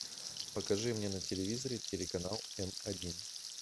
покажи мне на телевизоре телеканал м один